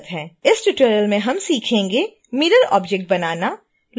इस ट्यूटोरियल में हम सीखेंगें मिरर ऑब्जेक्ट बनाना